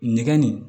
Nɛgɛn nin